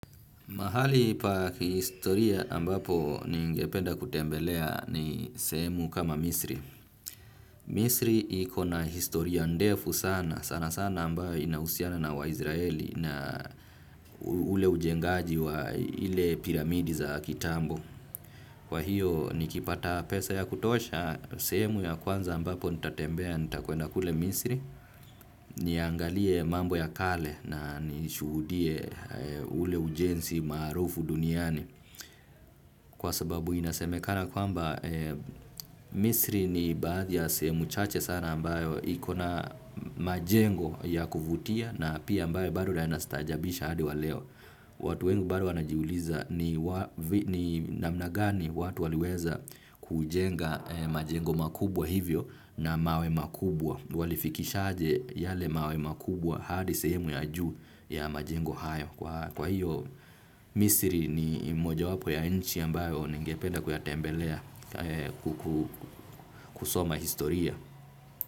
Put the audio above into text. Mahali pa kihistoria ambapo ningependa kutembelea ni sehemu kama Misri. Misri iko na historia ndefu sana, sana sana ambayo inahusiana na wa Izraeli na ule ujengaji wa zile piramidi za kitambo. Kwa hiyo nikipata pesa ya kutosha, sehemu ya kwanza ambapo nitatembea nitakwenda kule Misri, niangalie mambo ya kale na nishuhudie ule ujenzi maarufu duniani. Kwa sababu inasemekana kwamba misri ni baadhi ya sehemu chache sana ambayo ikona majengo ya kuvutia na pia ambayo bado yanastaajabisha hadi waleo. Watu wengi bado wanajiuliza ni namna gani watu waliweza kujenga majengo makubwa hivyo na mawe makubwa. Walifikisha aje yale mawe makubwa hadi sehemu ya juu ya majengo hayo. Kwa hiyo Misiri ni mojawapo ya nchi ambayo ningepeda kuyatembelea kusoma historia.